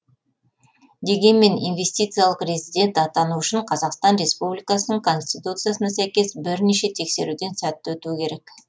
дегенмен инвестициялық резидент атану үшін қазақстан республикасының конституциясына сәйкес бірнеше тексеруден сәтті өтуі керек